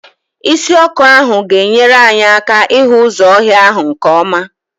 Isi ọkụ ahụ ga enyere anyị aka ịhụ ụzọ ọhịa ahụ nke ọma.